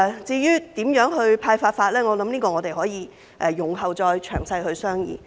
至於如何派發，我想我們可以容後再詳細商議。